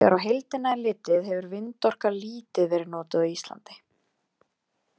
En þegar á heildina er litið hefur vindorka lítið verið notuð á Íslandi.